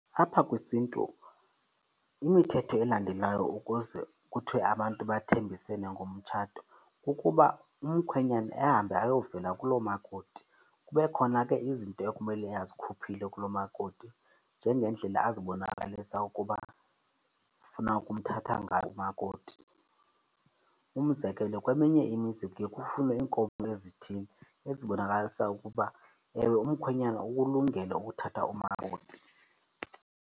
Apha kwisiNtu imithetho elandelwayo ukuze kuthiwe abantu bathembisene ngomtshato kukuba umkhwenyane ahambe ayovela kulomakoti. Kube khona ke izinto ekumele azikhuphile kulomakoti, njengendlela azibonakalisa ukuba ufuna ukumthatha ngayo umakoti. Umzekelo, kweminye imizi kuye kufunwe iinkomo ezithile ezibonakalisa ukuba ewe umkhwenyana ukulungele ukuthatha umakoti.